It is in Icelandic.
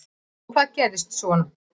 Og hvað gerðist svo?